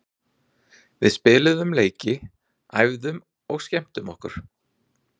Við spiluðum leiki, æfðum og skemmtum okkur.